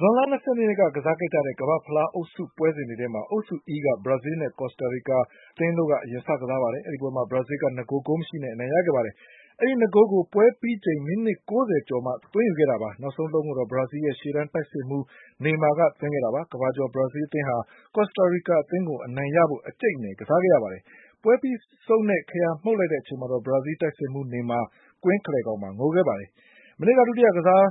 ဇွန်လ ၂၂ ရက်နေ့က ကစားခဲ့ကြတဲ့ ကမ္ဘာ့ဖလား အုပ်စုပွဲစဉ်တွေထဲမှာ အုပ်စု E က ဘရာဇီးလ်နဲ့ ကော်စတာ ရီကာ အသင်းတို့ အရင်စ ကစားပါတယ်။ အဲဒီပွဲမှာ ဘရာဇီးလ်က ၂ ဂိုးဂိုးမရှိနဲ့ အနိုင်ရခဲ့ပါတယ်။ အဲဒီ ၂ ဂိုးလုံး ကို ပွဲပြီးချိန် မိနစ် ၉၀ ကျော်မှ သွင်းခဲ့တာပါ။ နောက်ဆုံးတလုံးကို ဘရာဇီးလ်ရဲ့ရှေ့တန်းတိုက်စစ်မှူး နေမာက သွင်းခဲ့တာပါ။ ကမ္ဘာကျော်ဘရာဇီးလ်အသင်းဟာ ကော်စတကာရီကာအသင်းကို အနိုင်ရဖို့ အကြိတ်အနယ်ကစားခဲ့ရတာပါ။ ပွဲပြီးဆုံးတဲ့ ခရာမှုတ်လိုက်တဲ့အချိန်မှာတော့ ဘရာဇီးလ်တိုက်စစ်မှူးနေမှာ ကွင်းအလယ်မှာ ငိုခဲ့ပါတယ်။ မနေ့က ဒုတိယကစားတဲ့